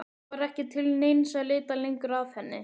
Það var ekki til neins að leita lengur að henni.